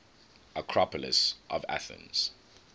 acropolis of athens